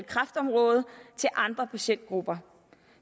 kræftområdet til andre patientgrupper